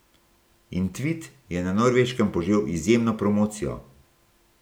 In tvit je na Norveškem požel izjemno promocijo.